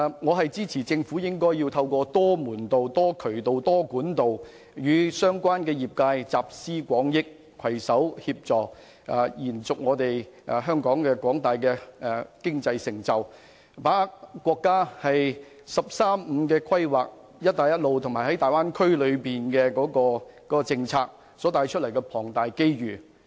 我支持政府透過多門道、多渠道及多管道與相關業界集思廣益，攜手延續香港的經濟成就，把握國家的"十三五"規劃、"一帶一路"及粵港澳大灣區規劃所帶來的龐大機遇。